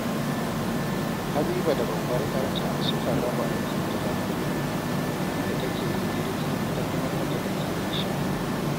Habiba da babbar 'yarta sukan raba aikin gida kullum, inda take yin girki, ita kuma 'yarta take yin shara